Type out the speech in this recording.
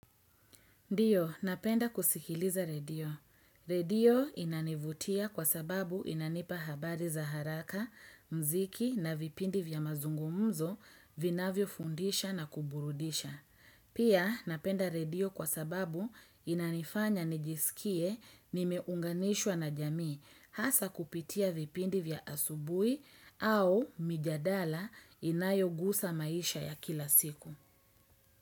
Ndiyo, napenda kusikiliza redio. Redio inanivutia kwasababu inanipa habari za haraka, mziki na vipindi vya mazungumzo vinavyofundisha na kuburudisha. Pia, napenda redio kwa sababu inanifanya nijisikie nimeunganishwa na jamii hasa kupitia vipindi vya asubuhi au mijadala inayogusa maisha ya kila siku.